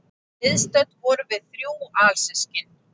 Viðstödd vorum við þrjú alsystkin